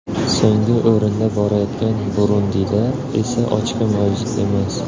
So‘nggi o‘rinda borayotgan Burundida esa ochko mavjud emas.